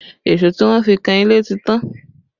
Èso tí wọ́n fi kan ilé ti tán